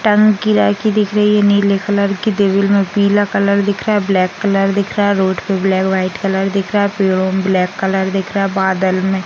टंकी किराए की दिख रही है नीले कलर की डेविल में पीला कलर दिख रहा है ब्लैक कलर दिख रहा है रोड पर ब्लैक व्हाइट कलर दिख रहा है ब्लैक कलर दिख रहा है बादल में --